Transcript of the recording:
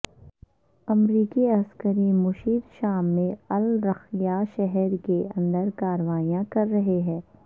امریکی عسکری مشیر شام میں الرقہ شہر کے اندر کارروائیاں کر رہے ہیں